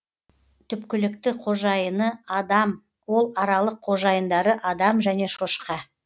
түпкілікті қожайыны адам ол аралық қожайындары адам және шошқа